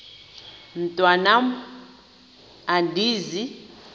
mntwan am andizi